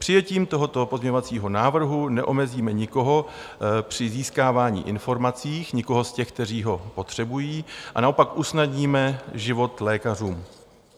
Přijetím tohoto pozměňovacího návrhu neomezíme nikoho při získávání informací, nikoho z těch, kteří ho potřebují, a naopak usnadníme život lékařům.